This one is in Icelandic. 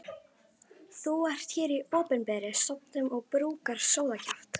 Þú ert hér í opinberri stofnun og brúkar sóðakjaft.